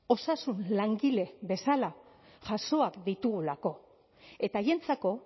osasun langile bezala jasoak ditugulako eta haientzako